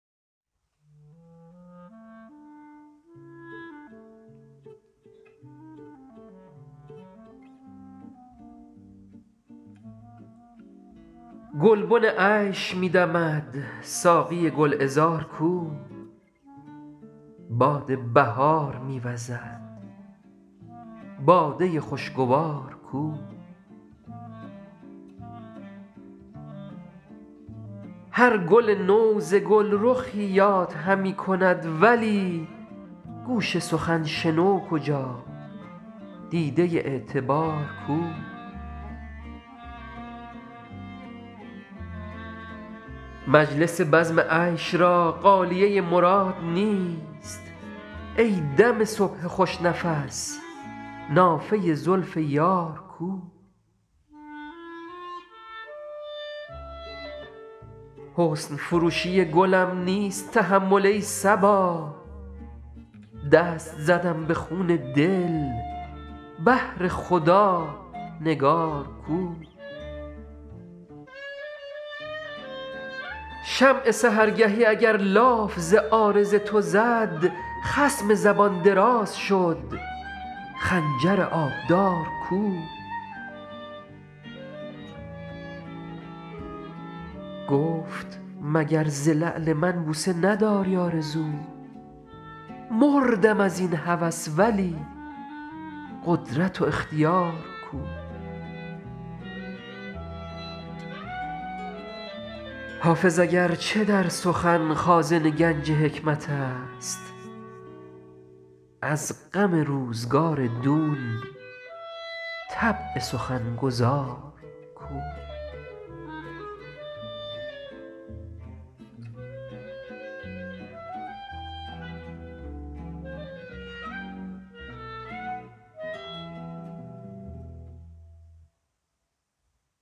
گلبن عیش می دمد ساقی گل عذار کو باد بهار می وزد باده خوش گوار کو هر گل نو ز گل رخی یاد همی کند ولی گوش سخن شنو کجا دیده اعتبار کو مجلس بزم عیش را غالیه مراد نیست ای دم صبح خوش نفس نافه زلف یار کو حسن فروشی گلم نیست تحمل ای صبا دست زدم به خون دل بهر خدا نگار کو شمع سحرگهی اگر لاف ز عارض تو زد خصم زبان دراز شد خنجر آبدار کو گفت مگر ز لعل من بوسه نداری آرزو مردم از این هوس ولی قدرت و اختیار کو حافظ اگر چه در سخن خازن گنج حکمت است از غم روزگار دون طبع سخن گزار کو